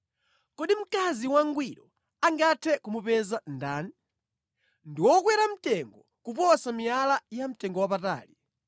Kodi mkazi wangwiro angathe kumupeza ndani? Ndi wokwera mtengo kuposa miyala yamtengowapatali.